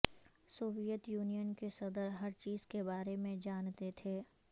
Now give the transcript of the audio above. Soviet Union کے صدر ہر چیز کے بارے میں جانتے تھے